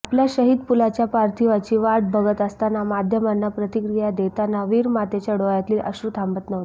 आपल्या शहीद पुलाच्या पार्थिवाची वाट बघत असता माध्यमांना प्रतिक्रिया देताना वीरमातेच्या डोळ्यातील अश्रू थांबत नव्हते